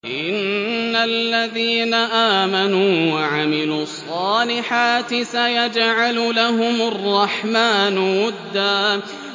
إِنَّ الَّذِينَ آمَنُوا وَعَمِلُوا الصَّالِحَاتِ سَيَجْعَلُ لَهُمُ الرَّحْمَٰنُ وُدًّا